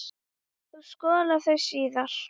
Þú skolar þau síðar.